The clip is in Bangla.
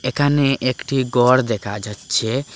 একানে একটি গর দেখা যাচ্ছে।